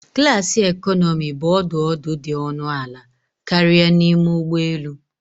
Klasi economi bụ ọdụ ọdụ dị ọnụ ala karịa n'ime ụgbọ elu